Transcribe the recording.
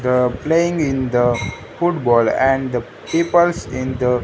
the playing in the football and the peoples in the --